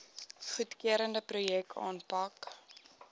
goedgekeurde projekte aanpak